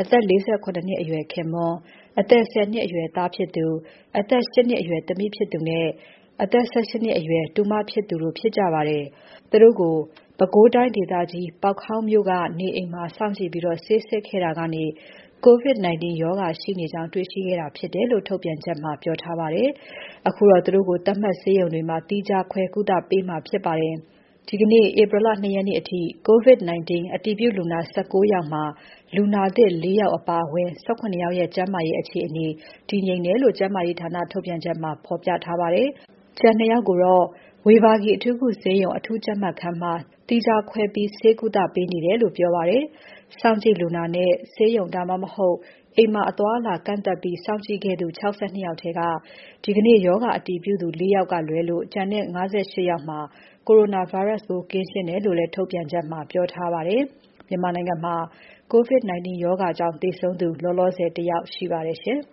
အသက် ၄၇ နှစ်အရွယ် ခင်ပွန်း၊ အသက် ၁၀ နှစ်ရွယ် သားဖြစ်သူ၊ အသက် ၈ နှစ်အရွယ်သမီးဖြစ်သူနဲ့ အဆက် ၁၈ နှစ်အရွယ် တူမဖြစ်သူ တို့ ဖြစ်ကြပါတယ်။ သူတို့ကို ပဲခူးတိုင်းဒေသကြီး ပေါက်ခေါင်းမြို့က နေအိမ်မှာ စောင့်ကြည့်ပြီး ဆေးစစ်ခဲ့တာကနေ COVID-19 ရောဂါရှိနေကြောင်း တေ့ွခဲ့တာဖြစ်တယ်လို့ ထုတ်ပြန်ချက်မှာ ပြောထားပါတယ်။ အခုတော့ သူတို့ကို သတ်မှတ်ဆေးရုံတွေမှာ သီးခြားခွဲကုသပေးမှာဖြစ်ပါတယ်။ ဒီကနေ့ ဧပြီ ၂ ရက်နေ့အထိ COVID-19 အတည်ပြုလူနာ ၁၉ ယောက်မှာ လူနာသစ် ၄ ယောက်အပါအဝင် ၁၇ ယောက်ရဲ့ ကျန်းမာရေးအခြေအနေ တည်ငြိမ်တယ်လို့ ကျန်းမာရေးဌာနထုတ်ပြန်ချက်မှာ ဖော်ပြထားပါတယ်။ ကျန် ၂ ယောက်ကတော့ ဝေဘာဂီ အထူးကုဆေးရုံ အထူးကြပ်မတ်ခန်းမှာ သီးခြားပြီး ဆေးကုပေးနေတယ်လို့လည်း ပြောပါတယ်။ စောင့်ကြည့်လူနာနဲ့ ဆေးရုံ ဒါမှ မဟုတ် အိမ်မှာ အသွား အလာကန့်သတ်ပြီး စောင့်ကြည့်ခဲ့သူ ၆၂ ယောက်ထဲက ဒီကနေ့ ရောဂါအတည်ပြုသူ ၄ ယောက်လွဲလို့ ကျန်တဲ့ ၅၈ ယောက်မှာ Coronavirus ပိုးကင်းရှင်းတယ်လို့လည်း ထုတ်ပြန်ချက်မှာ ပြောထားပါတယ်။ မြန်မာနိုင်ငံမှာ COVID 19 ရောဂါကြောင့် သေဆုံးသူလောလောဆယ် ၁ ယောက် ရှိပါတယ်ရှင်။